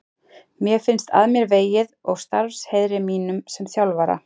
Mér finnst að mér vegið og starfsheiðri mínum sem þjálfara.